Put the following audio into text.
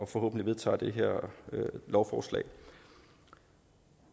forhåbentlig vedtager det her lovforslag